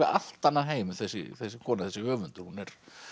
allt annan heim þessi þessi kona þessi höfundur hún